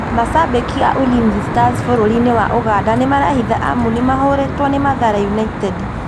Mashabĩki a Ulinzi Stars bũrũri-inĩ wa ũganda nĩmarehithi amu nĩmahotirwo nĩ Mathare United